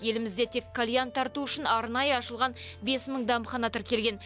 елімізде тек кальян тарту үшін арнайы ашылған бес мың дәмхана тіркелген